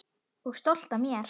Og stolt af mér.